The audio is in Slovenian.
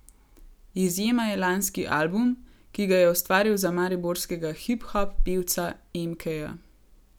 Izjema je lanski album, ki ga je ustvaril za mariborskega hip hop pevca Emkeja.